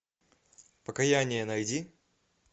покаяние найди